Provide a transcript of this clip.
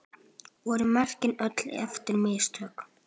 Voru mörkin öll eftir mistök?